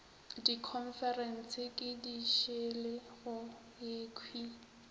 dikhonferense ke dišele go yekhwi